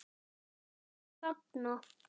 Fuglar þagna.